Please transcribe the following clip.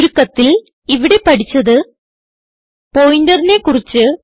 ചുരുക്കത്തിൽ ഇവിടെ പഠിച്ചത് പോയിന്ററിനെ കുറിച്ച്